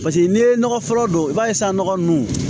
Paseke n'i ye nɔgɔ fɔlɔ don i b'a ye san nɔgɔ nunnu